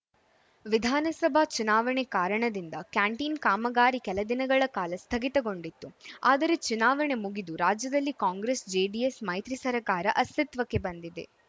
ವಿಧಾನಸಭಾ ಚುನಾವಣೆ ಕಾರಣದಿಂದ ಕ್ಯಾಂಟೀನ್‌ ಕಾಮಗಾರಿ ಕೆಲ ದಿನಗಳ ಕಾಲ ಸ್ಥಗಿತಗೊಂಡಿತ್ತು ಆದರೆ ಚುನಾವಣೆ ಮುಗಿದು ರಾಜ್ಯದಲ್ಲಿ ಕಾಂಗ್ರೆಸ್‌ ಜೆಡಿಎಸ್‌ ಮೈತ್ರಿ ಸರಕಾರ ಅಸ್ತಿತ್ವಕ್ಕೆ ಬಂದಿದೆ